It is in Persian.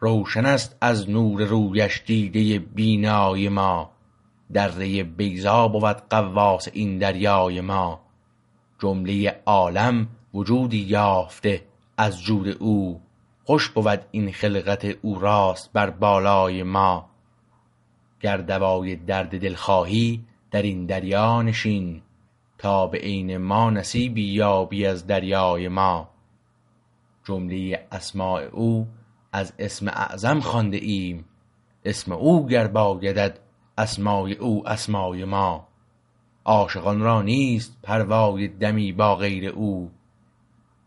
روشنست از نور رویش دیده بینای ما دره بیضا بود غواص این دریای ما جمله عالم وجودی یافته از جود او خوش بود این خلقت او راست بر بالای ما گر دوای درد دل خواهی در این دریا نشین تا به عین ما نصیبی یابی از دریای ما جمله اسمای او از اسم اعظم خوانده ایم اسم او گر بایدت اسمای او اسمای ما عاشقان را نیست پروای دمی با غیر او